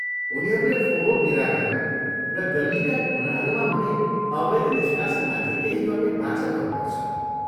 उनीहरूले फोहोर निराकरण र गल्लीका कुनाहरूमा हुने अवैध निष्कासनमाथि केही गर्ने बाचा गर्नुपर्छ।